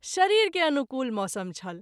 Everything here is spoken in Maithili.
शरीर के अनुकूल मौसम छल।